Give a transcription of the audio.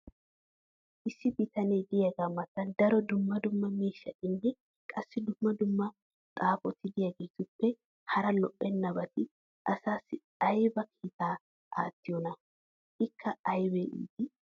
issi bitanee diyaagaa matan daro dumma dumma miishshatinne qassi dumma dumma xaafoti diyaagetuppe hara lo'ennabati asaassi aybba kiittaa aattiyoonaa? ikka aybba ittii!